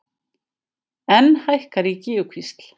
Enn hækkar í Gígjukvísl